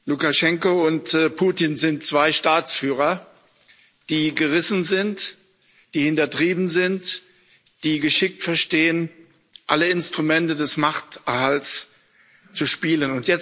Lukaschenko und Putin sind zwei Staatsführer, die gerissen sind, die hintertrieben sind, die geschickt verstehen, alle Instrumente des Machterhalts zu spielen.